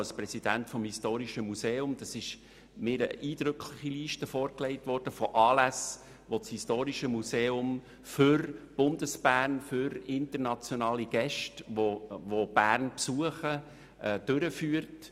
Als Präsident des Historischen Museums wurde mir eine eindrückliche Liste von Anlässen vorgelegt, die das Historische Museum für Bundesbern, für internationale Gäste, die Bern besuchen, durchführt.